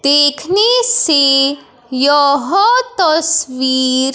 देखने से यह तस्वीर--